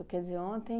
Quer dizer, ontem...